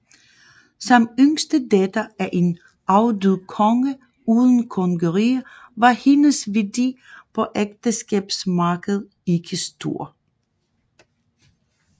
Som yngste datter af en afdød konge uden kongerige var hendes værdi på ægteskabsmarkedet ikke stor